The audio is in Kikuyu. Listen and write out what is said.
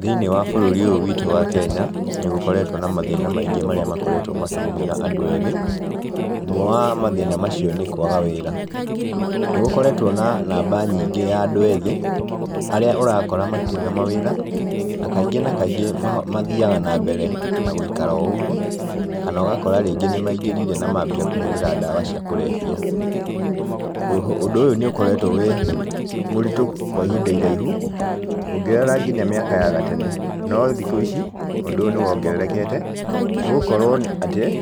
Thĩiniĩ wa bũrũri ũyũ witũ wa Kenya, ni gũkoretwo na mathĩna maingĩ marĩa makoretwo makĩgũmĩra andũ ethĩ, ũmwe wa mathĩna macio nĩ kwaga wĩra. Nĩ gũkoretwo na namba nyingĩ ya andũ ethĩ, arĩa ũrakora matirĩ na mawĩra, na kaingĩ na kaingĩ mathiaga na mbere na gũikara o ũguo, kana ũgakora rĩngĩ nĩ maingĩrire na mambia kũhũthĩra ndawa cia kũrebia. Ũndũ ũyũ nĩ ũkoretwo wĩ mũritũ kwa ihinda iraihu ũngĩrora nginya mĩaka ya gatene, no thikũ ici ũndũ ũyũ nĩ wongererekete, nĩ gũkorwo atĩ,